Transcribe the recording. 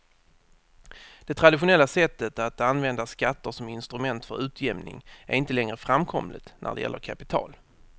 Det traditionella sättet att använda skatter som instrument för utjämning är inte längre framkomligt när det gäller kapital.